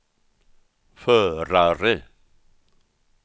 förare